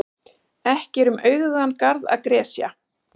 Ekki er um auðugan garð að gresja.